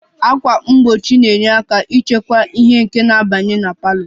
Ákwà mgbochi na-enyere aka ịchịkwa ìhè nke na-abanye na parlour